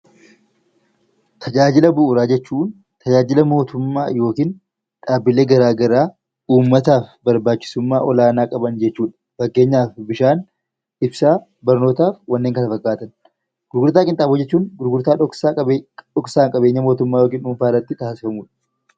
Tajaajila Bu'uuraa jechuun tajaajila mootummaa yookiin dhaabbilee garaa garaa uummataaf barbaachisummaa olaanaa qaban jechuu dha. Fakkeenyaaf Bishaan, Ibsaa, Barnotaa fi wanneen kana fakkaatan. Gurgurtaa Qinxaaboo jechuun gurgurtaa dhoksaan qabeenya mootummaa yookiin dhuunfaa irratti taasifamu dha.